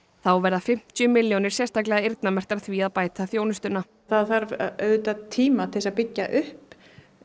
þá verða fimmtíu milljónir sérstaklega eyrnamerktar því að bæta þjónustuna það þarf auðvitað tíma til að byggja upp